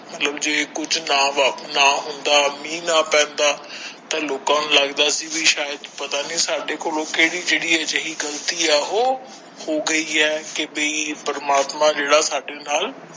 ਮਤਲਬ ਜੇ ਕੁਝ ਨਾ ਹੁੰਦਾ ਮੀਹ ਨਾ ਪੈਂਦਾ ਤਾ ਲੋਕਾਂ ਨੂੰ ਲੱਗਦਾ ਸੀ ਕੀ ਸ਼ਾਇਦ ਪਤਾ ਨਹੀਂ ਸਾਡੇ ਕੋਲ ਕਿਹੜੀ ਅਜਿਹੀ ਗ਼ਲਤੀ ਹੋ ਗਈ ਹੈ ਕੀ ਬਾਈ ਪ੍ਰਮਾਤਮਾ ਜਿਹੜਾ ਸਾਡੇ ਨਾਲ।